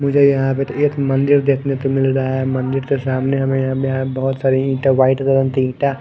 मुझे यहां पे एक मंदिर देखने को मिल रहा है मंदिर के सामने हमे यहां बहोत सारे ईंट व्हाइट कलर के ईंटा--